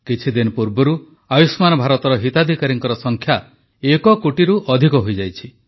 କିଛିଦିନ ପୂର୍ବରୁ ଆୟୁଷ୍ମାନ ଭାରତର ହିତାଧିକାରୀଙ୍କ ସଂଖ୍ୟା ଏକ କୋଟିରୁ ଅଧିକ ହୋଇଯାଇଛି